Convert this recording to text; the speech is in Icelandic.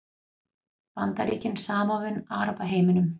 Bandaríkin samofin Arabaheiminum